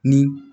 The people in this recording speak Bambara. Ni